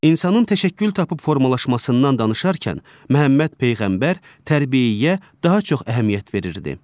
İnsanın təşəkkül tapıb formalaşmasından danışarkən Məhəmməd Peyğəmbər tərbiyəyə daha çox əhəmiyyət verirdi.